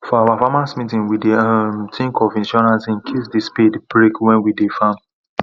for our farmers meeting we dey um think of insurance incase the spade break when we dey farm